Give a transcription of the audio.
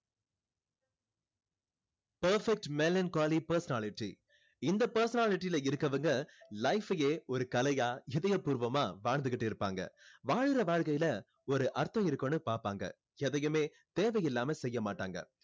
perfect melancholy personality இந்த personality ல இருக்கவங்க life அயே ஒரு கலையா இதய பூர்வமா வாழ்ந்துகிட்டு இருப்பாங்க வாழுற வாழ்க்கைல ஒரு அர்த்தம் இருக்கணும்னு பார்ப்பாங்க எதையுமே தேவை இல்லாம செய்ய மாட்டாங்க